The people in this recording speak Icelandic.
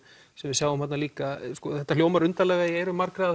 sem við sjáum þarna líka þetta hljómar undarlega í eyrum margra